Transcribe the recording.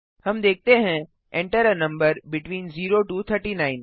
हम देखते हैं Enter a number between 0 to 39